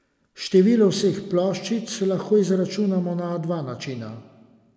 Število vseh ploščic lahko izračunamo na dva različna načina.